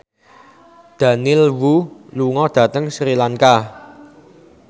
Daniel Wu lunga dhateng Sri Lanka